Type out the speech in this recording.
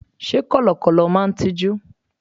Sé Kọ̀lọ̀kọ̀lọ̀ máa n tijú?